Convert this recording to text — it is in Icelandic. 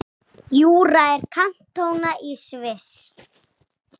Júra er kantóna í Sviss.